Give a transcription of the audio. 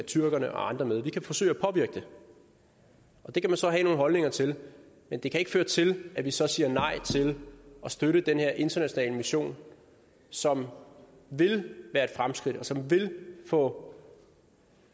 tyrkerne og andre med vi kan forsøge at påvirke det det kan man så have nogle holdninger til men det kan ikke føre til at vi så siger nej til at støtte den her internationale mission som vil være et fremskridt og som vil få